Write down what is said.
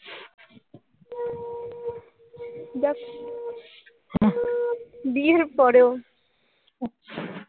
যাক বিয়ের পরেও।